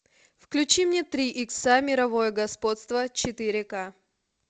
включи мне три икса мировое господство четыре к